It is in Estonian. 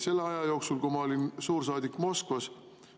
Selle aja jooksul, kui ma olin suursaadik Moskvas,.